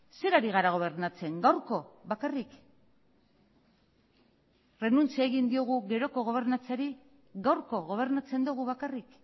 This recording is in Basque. zer ari gara gobernatzen gaurko bakarrik renuntzia egin diogu geroko gobernatzeari gaurko gobernatzen dugu bakarrik